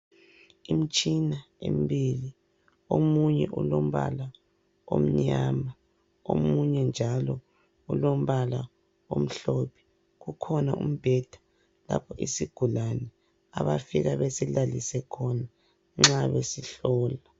Imtshina emibili, omunye ulombala omnyama, omunye njalo ulombala omhlophe. Kukhona umbheda lapho isigulane abafika besilalise khona nxa besihlola.